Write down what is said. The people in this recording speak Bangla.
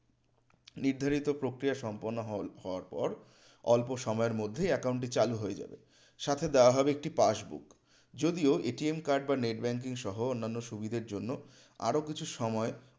নির্ধারিত প্রক্রিয়া সম্পন্ন হওয়ার পর অল্প সময়ের মধ্যেই account টি চালু হয়ে যাবে সাথে দেয়া হবে একটি passbook যদিও card বা net banking সহ অন্যান্য সুবিধার জন্য আরও কিছু সময়